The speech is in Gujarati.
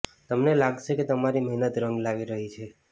તમને લાગશે કે તમારી મહેનત રંગ લાવી રહી છે